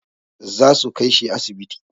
Zasu kai shi asibiti.